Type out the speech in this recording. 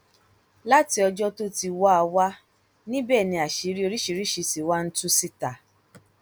láti ọjọ tó ti wáá wà níbẹ ni àṣírí oríṣiríṣiì ti wá ń tú síta